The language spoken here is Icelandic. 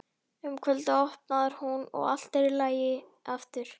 Um kvöldið opnar hún og allt er í lagi aftur.